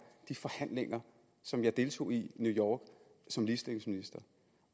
de forhandlinger som jeg deltog i i new york som ligestillingsminister